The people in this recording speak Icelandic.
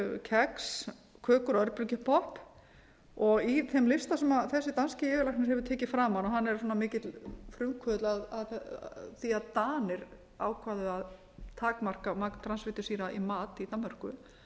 kex kökur og örbylgjupopp og í þeim lista sem þessi danski yfirlæknir hefur árið fram hann er mikill frumkvöðull að því að danir ákváðu að takmarka magn transfitusýra í mat í danmörku